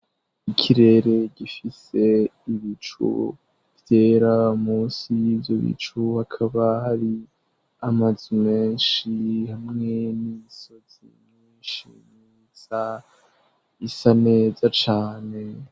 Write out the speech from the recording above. Ikirere gifise ibicu vyera munsi y'ivyo bicu hakaba hari amazu menshi hamwe n'imisozi myishi isa isa neza cane.